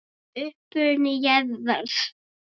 Uppruni jarðar